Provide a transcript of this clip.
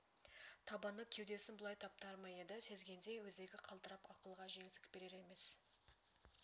табаны кеудесін бұлай таптар ма еді сезгендей өзегі қалтырап ақылға жеңсік берер емес